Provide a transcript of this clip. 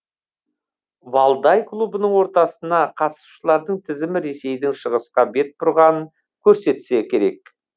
валдай клубының отырысына қатысушылардың тізімі ресейдің шығысқа бет бұрғанын көрсетсе керек